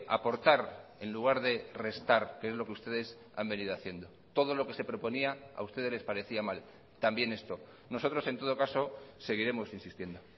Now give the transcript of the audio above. aportar en lugar de restar que es lo que ustedes han venido haciendo todo lo que se proponía a ustedes les parecía mal también esto nosotros en todo caso seguiremos insistiendo